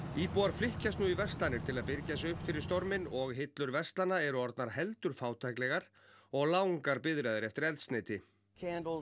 íbúar flykkjast nú í verslanir til að birgja sig upp fyrir storminn og hillur verslana eru orðnar heldur fátæklegar og langar biðraðir eftir eldsneyti